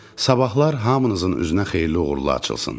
Sabahlar hamınızın üzünə xeyirli-uğurlu açılsın.